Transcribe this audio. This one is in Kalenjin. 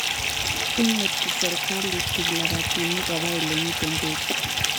Imuti sirikalit kiplabatinik kopa olemi peek